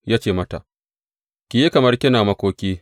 Ya ce mata, Ki yi kamar kina makoki.